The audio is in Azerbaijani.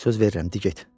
Söz verirəm, dur get.